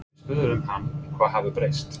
Við spurðum hann hvað hafi breyst?